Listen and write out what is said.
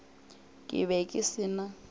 ke be ke se na